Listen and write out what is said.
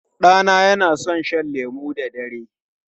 Ɗana yana son shan lemu da dare.